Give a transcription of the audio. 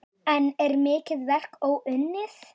Enn er mikið verk óunnið.